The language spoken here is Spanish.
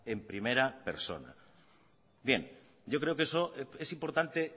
en primera persona bien yo creo que eso es importante